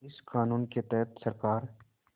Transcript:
इस क़ानून के तहत सरकार